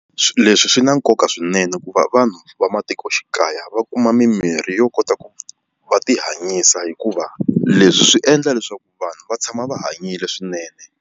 Leswi swi na nkoka swinene ku va vanhu va matikoxikaya va kuma mimirhi yo kota ku va ti hanyisa hikuva leswi swi endla leswaku vanhu va tshama va hanyile swinene.